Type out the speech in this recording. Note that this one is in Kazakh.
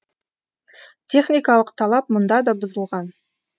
техникалық талап мұнда да бұзылған